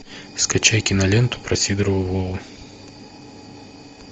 скачай киноленту про сидорова вову